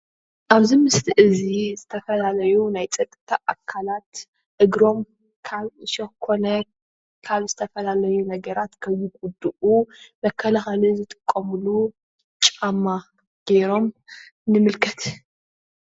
አብዚ ምስሊ እዚ ዝተፈላለዩ ናይ ፀጥታ አካላት እግሮም ካብ ዕሾክ ኮነ ካብ ዝተፈላለዩ ነገራት ከይጉድኡ መከላከሊ ዝጥቀምሉ ጫማ ገይሮም ንምልከት።